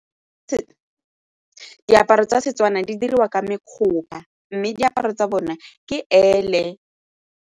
Diaparo tsa Setswana di diriwa ka mme diaparo tsa bone ke ele.